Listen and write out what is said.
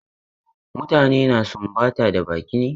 Mutane na sumbata da baki ne.